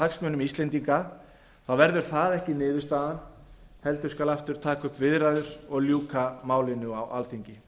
hagsmunum íslendinga þá verður það ekki niðurstaðan heldur skal aftur taka upp viðræður og ljúka málinu á alþingi